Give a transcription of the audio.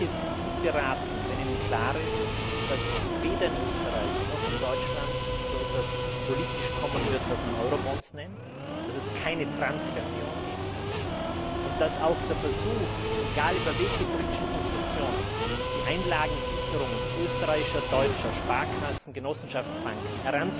Sie sind gut beraten, wenn Ihnen klar ist, dass weder in Österreich noch in Deutschland so etwas politisch kommen wird, was man Eurobonds nennt, dass es keine Transfer Union geben wird und dass auch der Versuch, egal über welche politischen Konstruktionen die Einlagensicherungen österreichischer, deutscher Sparkassen, Genossenschaftsbanken